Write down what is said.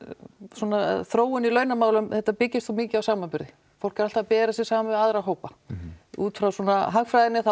svona þróun í launamálum þetta byggist svo mikið á samanburði fólk er alltaf að bera sig saman við aðra hópa útfrá svona hagfræðinni þá